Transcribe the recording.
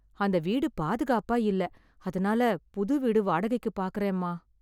அந்த வீடு பாதுகாப்ப இல்ல அதனால புது வீடு வாடகைக்கு பாக்கரோ அம்மா